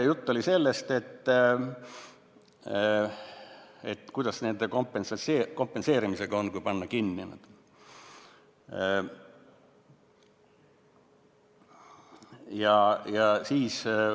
Juttu oli sellest, kuidas kompenseerimisega on, kui kinni panna.